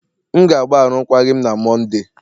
M ga-agba arụkwaghịm na Mọnde.